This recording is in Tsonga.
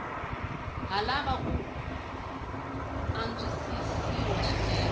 ha lava ku antswisiwa swinene